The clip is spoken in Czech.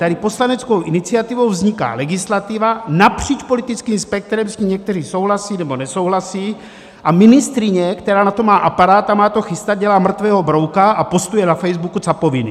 Tady poslaneckou iniciativou vzniká legislativa napříč politickým spektrem, s tím někteří souhlasí nebo nesouhlasí, a ministryně, která na to má aparát a má to chystat, dělá mrtvého brouka a postuje na Facebooku capoviny.